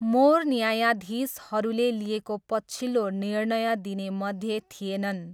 More न्यायाधीशहरूले लिएको पछिल्लो निर्णय दिनेमध्ये थिएनन्।